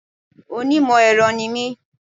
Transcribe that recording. Onímò èro ni mí